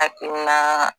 Hakilina